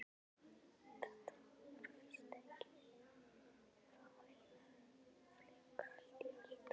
Þetta voru víst ekki nema fáeinar flíkur allt í allt.